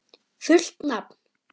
Fullt nafn?